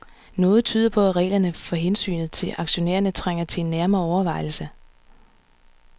Noget tyder på, at reglerne for hensynet til aktionærerne trænger til en nærmere overvejelse.